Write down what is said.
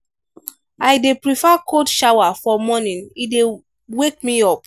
i dey prefer cold shower for morning e dey wake me up.